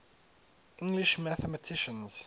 english mathematicians